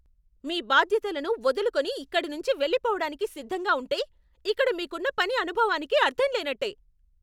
మీ బాధ్యతలను వదులుకుని ఇక్కడనుంచి వెళ్లిపోవడానికి సిద్ధంగా ఉంటే, ఇక్కడ మీకున్న పని అనుభవానికి అర్ధం లేనట్టే.